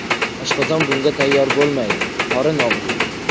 Oshqozon bunga tayyor bo‘lmaydi, qorin og‘riydi.